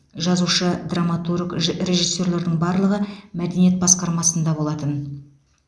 жазушы драматург же режиссерлердің барлығы мәдениет басқармасында болатын